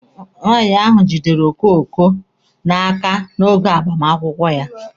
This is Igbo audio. Nwaanyị ahụ jidere okoko n'aka oge agbamakwụkwọ ya.